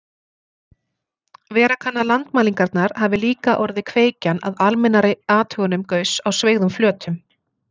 Vera kann að landmælingarnar hafi líka orðið kveikjan að almennari athugunum Gauss á sveigðum flötum.